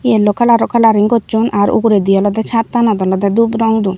yellow coloro coloring hocchon ar ugurendi olode chattanot olode dup rong don.